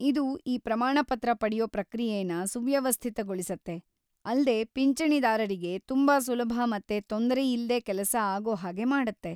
ಇದು ಈ ಪ್ರಮಾಣಪತ್ರ ಪಡ್ಯೋ ಪ್ರಕ್ರಿಯೆನ ಸುವ್ಯವಸ್ಥಿತಗೊಳಿಸತ್ತೆ, ಅಲ್ದೇ ಪಿಂಚಣಿದಾರರಿಗೆ ತುಂಬಾ ಸುಲಭ ಮತ್ತೆ ತೊಂದರೆ ಇಲ್ದೇ ಕೆಲಸ ಆಗೋ ಹಾಗೆ ಮಾಡತ್ತೆ.